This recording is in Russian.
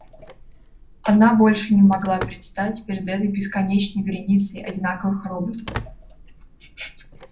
она больше не могла предстать перед этой бесконечной вереницей одинаковых роботов